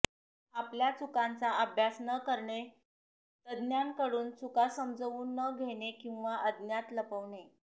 आपल्या चुकांचा अभ्यास न करणे तज्ञांकडून चुका समजवून न घेणे किंव्हा अज्ञान लपवणे